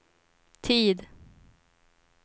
tid